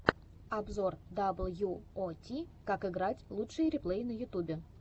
обзор дабл ю о ти как играть лучшие реплеи на ютубе